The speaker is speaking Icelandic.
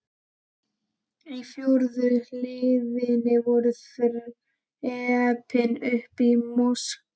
Á fjórðu hliðina voru þrepin upp í moskuna.